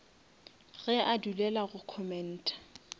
ge a dulela go commenta